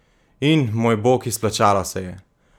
In, moj bog, izplačalo se je!